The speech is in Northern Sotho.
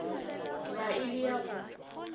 ba e le ya go